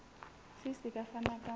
gcis e ka fana ka